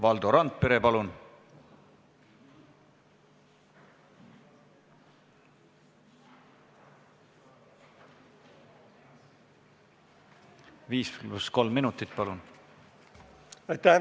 Valdo Randpere, 5 + 3 minutit, palun!